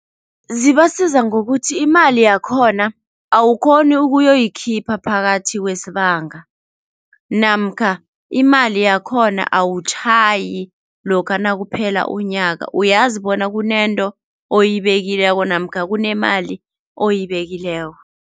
Zibasiza ngokuthi imali yakhona awukhoni ukuyoyikhipha phakathi kwesibanga namkha imali yakhona awutjhayi lokha nakuphela unyaka uyazi bona kunento oyibekileko namkha kunemali oyibekileko.